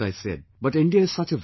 But India is such a vast country